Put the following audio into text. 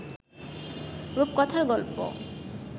রূপকথার গল্প